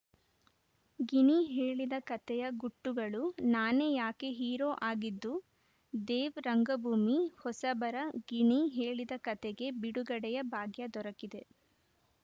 ಗಿಣಿ ಹೇಳಿದ ಕಥೆಯ ಗುಟ್ಟುಗಳು ನಾನೇ ಯಾಕೆ ಹೀರೋ ಆಗಿದ್ದು ದೇವ್‌ ರಂಗಭೂಮಿ ಹೊಸಬರ ಗಿಣಿ ಹೇಳಿದ ಕಥೆಗೆ ಬಿಡುಗಡೆಯ ಭಾಗ್ಯ ದೊರಕಿದೆ